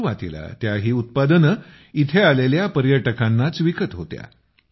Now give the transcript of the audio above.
सुरूवातीला त्या ही उत्पादने येथे आलेल्या पर्यटकांनाच विकत होत्या